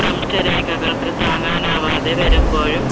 ഭ്രംശരേഖകൾക്ക് താങ്ങാനാവാതെ വരുമ്പോഴും